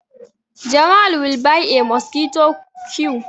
Jamal will buy a mosquito q